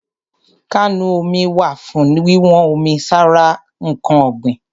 Kánù omi wà fún wíwọ́n omi sára ǹkan ọ̀gbìn.